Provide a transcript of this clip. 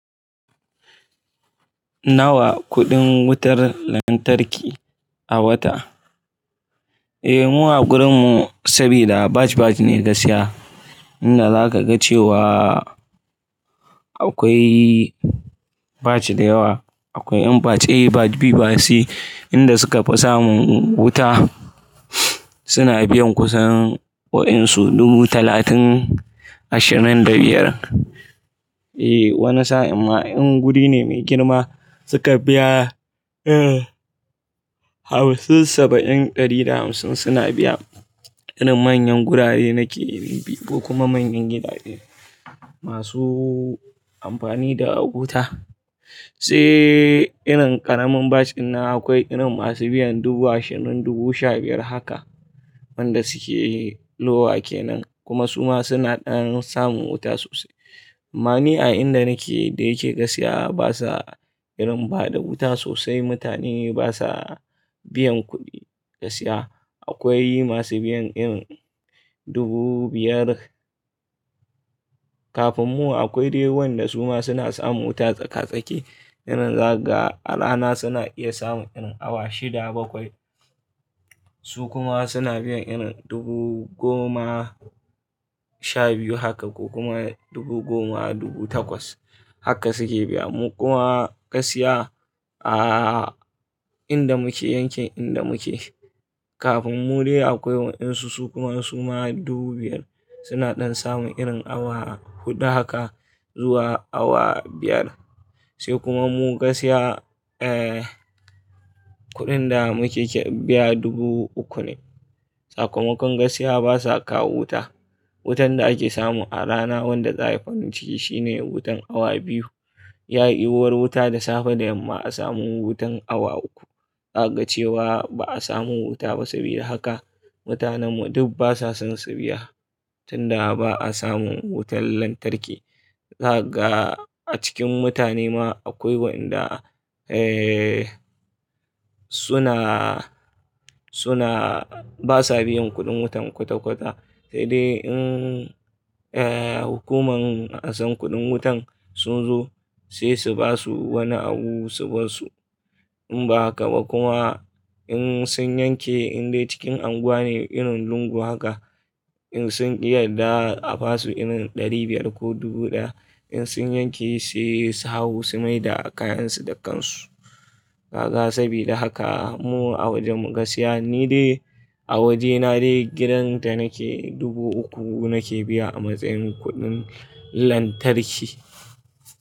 Nawa kuɗin wutar lantarki a wata? Eh, mu a gurinmu saboda batch batch ne gaskiya. Inda zaka ga cewa akwai batch da yawa. Akwai yan batch A, batch B, batch C, inda suka fi sa mun wuta suna biyan kusan wayansu dubu talatin ashirin da biyar. Eh, wani sa'in ma in guri ne mai girma suka biya, eh, Hausa saba'in ɗari da hamsin suna biya. Ina manyan gurare nake in bi kuma manyan gidaje masu amfani da wuta. Sai irin ƙaramin batch din nan akwai irin masu biyan dubu ashirin, dubu sha biyar haka. Waɗanda suke lowa kenan kuma su ma suna ɗan samun wuta sosai. Ma'ana a inda nake da yake gaskiya basa irin bada wuta sosai. Mutane basa biyan kuɗi gaskiya. Akwai masu biyan irin dubu biyar. Kafin mu akwai dai waɗanda su ma suna samun wuta tsaka-tsake. Irin za ka ga a rana suna iya samun irin awa shida bakwai. Su kuma suna biyan irin dubu goma sha biyu haka ko kuma dubu goma, dubu takwas haka suke biya. Mu kuma gaskiya a inda muke yanke inda muke. Kafin mu dai akwai waɗansu su kuma suna dubu biyar suna ɗan samun irin awa huɗu haka zuwa awa biyar. Sai kuma mu gaskiya, eh, kuɗin da muke biya dubu uku ne. Sakamakon gaskiya basa kawo wuta. Wutan da ake samu a rana wanda za, ai farinciki shine wutan awa biyu. Ya'yi war wuta da safe da yamma a samu wutan awa uku. Za ka ga cewa ba a samu wuta ba sabida haka mutanen mu duk basa son su biya. Tunda ba a samun wutar lantarki za ka ga a cikin mutane ma akwai waɗanda, eh, suna, suna basa biyan kuɗin wutan kwata-kwata. He dai in, eh, hukuman asan kuɗin wutan sun zo sai su basu wani abu su bar su. In ba haka ba kuma in sun yanke in dai cikin unguwa ne irin lungu haka in sun ki yadda a basu irin ɗari biyar ko dubu ɗaya in sun yanke sai su hau su maida kayansu da kansu. Za ka ga saboda haka mu a waje mu gaskiya ni dai a wajena dai gidanta nake dubu uku nake biya a matsayin kuɗin lantarki.